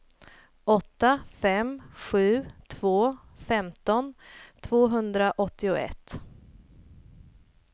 åtta fem sju två femton tvåhundraåttioett